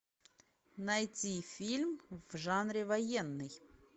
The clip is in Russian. найти фильм в жанре военный